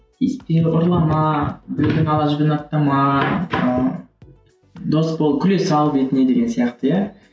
ұрлама біреудің ала жібін аттама ыыы дос бол күле сал бетіне деген сияқты иә